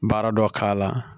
Baara dɔ k'a la